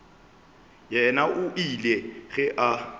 yena o ile ge a